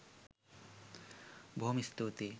බොහොම ස්තූතියි